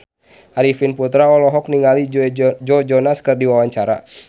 Arifin Putra olohok ningali Joe Jonas keur diwawancara